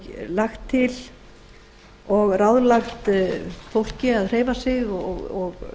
lagt til og ráðlagt fólki að hreyfa sig og